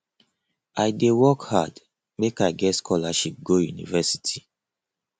i dey work hard make i get scholarship go university